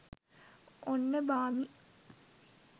ඔන්න බාමි